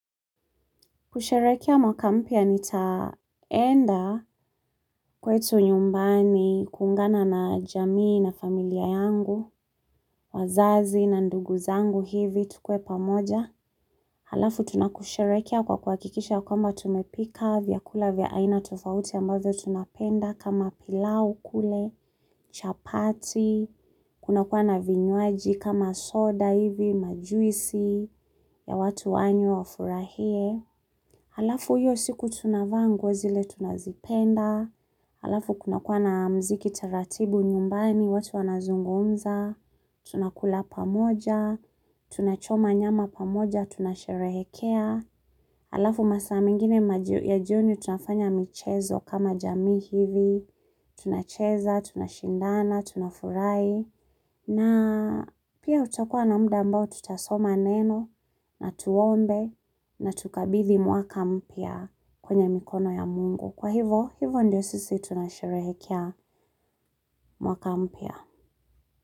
Kusherehekea mwaka mpya nitaenda kwetu nyumbani kuungana na jamii na familia yangu, wazazi na ndugu zangu hivi tukue pamoja. Halafu tunakusherekea kwa kuhakikisha kwamba tumepika vyakula vya aina tofauti ambazo tunapenda kama pilau kule, chapati, kuna kuwa na vinywaji kama soda hivi, majuisi ya watu wanywe wafurahie. Halafu hiyo siku tunavaa nguo zile tunazipenda, halafu kunakua na muziki taratibu nyumbani watu wanazungumza, tunakula pamoja, tunachoma nyama pamoja, tunasherehekea, halafu masaa mengine ya jioni tunafanya michezo kama jamii hivi, tunacheza, tunashindana, tunafurahi, na pia tutakua na muda ambao tutasoma neno na tuombe na tukabithi mwaka mpya kwenye mikono ya mungu. Kwa hivo, hivo ndio sisi tunasherehekea mwaka mpya.